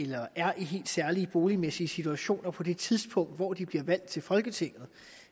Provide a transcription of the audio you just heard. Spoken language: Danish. der er i helt særlige boligmæssige situationer på det tidspunkt hvor de bliver valgt til folketinget